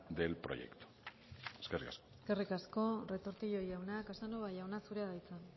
del proyecto eskerrik asko eskerrik asko retortillo jauna casanova jauna zurea da hitza